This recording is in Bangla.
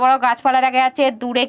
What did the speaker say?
বড়ো গাছপালা দেখা যাচ্ছে দূরে--